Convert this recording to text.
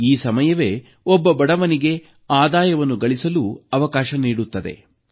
ಹಾಗೂ ಈ ಸಮಯವೇ ಒಬ್ಬ ಬಡವನಿಗೆ ಆದಾಯವನ್ನು ಗಳಿಸಲು ಅವಕಾಶ ನೀಡುತ್ತದೆ